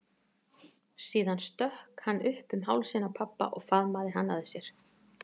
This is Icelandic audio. Síðan stökk hann upp um hálsinn á pabba og faðmaði hann að sér.